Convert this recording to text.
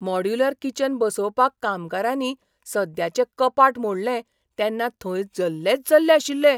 Modular kitchen बसोवपाक कामगारांनी सद्याचे कपाट मोडलें तेन्ना थंय जल्लेच जल्ले आशिल्ले.